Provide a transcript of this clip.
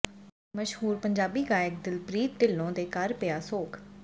ਮਸ਼ਹੂਰ ਪੰਜਾਬੀ ਗਾਇਕ ਦਿਲਪ੍ਰੀਤ ਢਿਲੋਂ ਦੇ ਘਰੇ ਪਿਆ ਸੋਗ